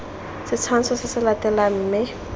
setshwantsho se se latelang mme